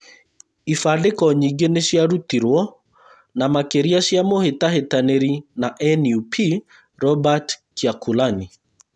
Ibandĩko nyingĩ nĩciarutirwo na makĩria cĩa mũhĩtahĩtanĩri na NUP, Robert Kyakulani